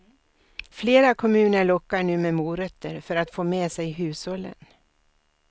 Flera kommuner lockar nu med morötter för att få med sig hushållen.